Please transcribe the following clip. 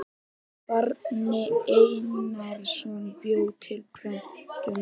Bjarni Einarsson bjó til prentunar.